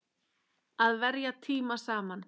Að verja tíma saman.